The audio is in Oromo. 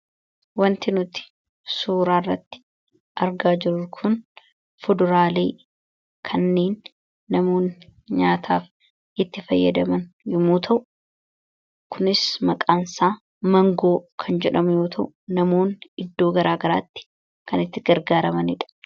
Wanti nuti suuraa kanarratti argaa jirru kun fuduraalee namoonni nyaataaf itti fayyadamzn yommuu ta'u, kunis maqaan isaa 'Mangoo' kan jedhamu yommuu ta'u namoonni iddoo gara garaatti kan itti fayyadamanidha.